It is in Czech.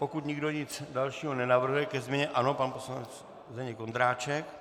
Pokud nikdo nic dalšího nenavrhuje ke změně - ano, pan poslanec Zdeněk Ondráček.